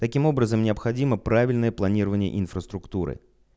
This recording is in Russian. таким образом необходимо правильное планирование инфраструктуры